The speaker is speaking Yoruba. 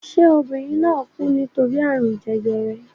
Ṣé obìnrin náà kú nítorí àrùn jẹjẹrẹ?